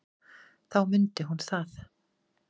Þá mundi hún það.